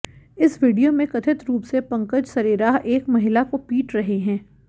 इस वीडियो में कथित रूप से पंकज सरेराह एक महिला को पीट रहे हैं